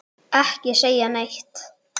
Ekki segja neitt!